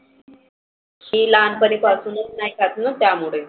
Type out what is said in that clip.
मी लहानपना पासूनच नाही खातना त्यामुळे.